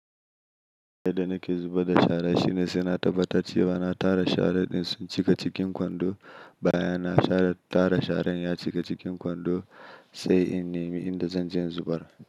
Yadda nake zuba da shara shine sai na tabbatar cewa na tara shara din sun cika cikin kwando, bayan na tara sharan ya cika cikin kwando sai in nemi inda zan je in zubar.